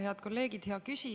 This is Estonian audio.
Head kolleegid!